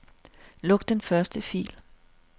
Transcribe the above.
Luk den første fil.